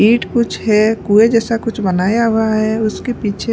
ईट कुछ है कुएँ जैसा कुछ बनाया हुआ है उसके पीछे --